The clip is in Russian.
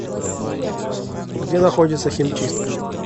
где находится химчистка